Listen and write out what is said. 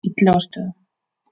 Illugastöðum